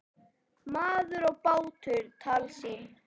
Maður og bátur- tálsýn?